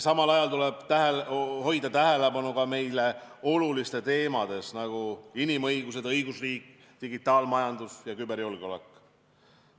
Samal ajal tuleb hoida tähelepanu ka meile olulistel teemadel, nagu inimõigused, õigusriik, digitaalmajandus ja küberjulgeolek.